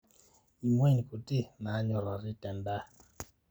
imwain kuti naanyorrari tendaa